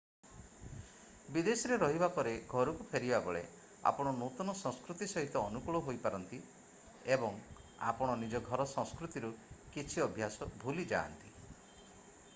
ବିଦେଶରେ ରହିବା ପରେ ଘରକୁ ଫେରିବାବେଳେ ଆପଣ ନୂତନ ସଂସ୍କୃତି ସହିତ ଅନୁକୂଳ ହୋଇଯାନ୍ତି ଏବଂ ଆପଣ ନିଜର ଘର ସଂସ୍କୃତିରୁ କିଛି ଅଭ୍ୟାସ ଭୁଲି ଯାଆନ୍ତି